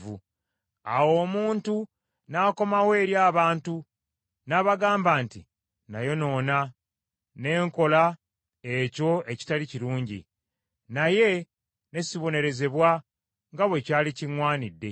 Awo omuntu n’akomawo eri abantu n’abagamba nti, Nayonoona, ne nkola ekyo ekitaali kirungi, naye ne sibonerezebwa nga bwe kyali kiŋŋwanidde.